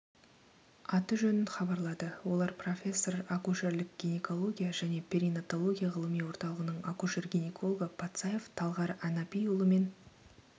аты-жөнін хабарлады олар профессор акушерлік гинекология және перинатология ғылыми орталығының акушер-гинекологы патсаев талғар әнапиұлы мен